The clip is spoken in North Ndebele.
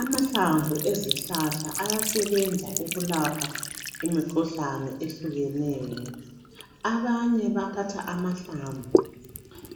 Amahlamvu ezihlahla ayasebenza ukulapha imikhuhlane ehlukeneyo abaye bayathatha amahlamvu